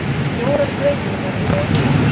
Fjórar breytingar eru á liðinu.